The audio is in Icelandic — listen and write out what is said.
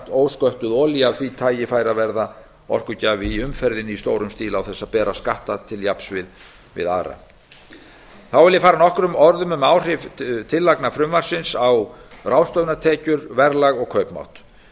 ósköttuð olía af því tagi færi að verða orkugjafi í umferðinni í stórum stíl án þess að bera skatta til jafns við aðra þá vil ég fara nokkrum orðum um áhrif tillagna frumvarpsins á ráðstöfunartekjur verðlag og kaupmátt það